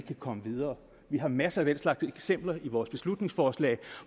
kan komme videre vi har masser af den slags eksempler i vores beslutningsforslag